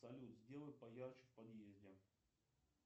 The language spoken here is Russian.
салют сделай поярче в подъезде